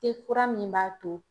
kura min b'a to